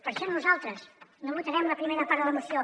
per això nosaltres no votarem la primera part de la moció